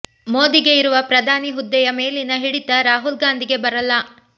ಮೋದಿಗೆ ಇರುವ ಪ್ರಧಾನಿ ಹುದ್ದೆಯ ಮೇಲಿನ ಹಿಡಿತ ರಾಹುಲ್ ಗಾಂಧಿಗೆ ಬರಲ್ಲ